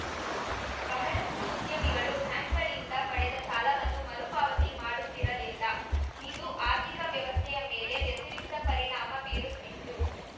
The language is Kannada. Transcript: ಬಹಳಷ್ಟುಉದ್ಯಮಿಗಳು ಬ್ಯಾಂಕ್‌ಗಳಿಂದ ಪಡೆದ ಸಾಲವನ್ನು ಮರು ಪಾವತಿ ಮಾಡುತ್ತಿರಲಿಲ್ಲ ಇದು ಆರ್ಥಿಕ ವ್ಯವಸ್ಥೆಯ ಮೇಲೆ ವ್ಯತಿರಿಕ್ತ ಪರಿಣಾಮ ಬೀರುತ್ತಿತ್ತು